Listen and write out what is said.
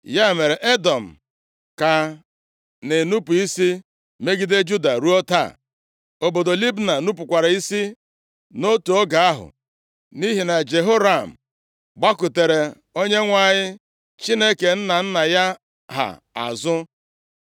Ya mere, Edọm ka na-enupu isi megide Juda, ruo taa. Obodo Libna nupukwara isi nʼotu oge ahụ, nʼihi na Jehoram gbakụtara Onyenwe anyị Chineke nna nna ya ha azụ.